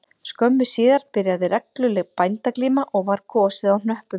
Skömmu síðar byrjaði regluleg bændaglíma og var kosið á hnöppum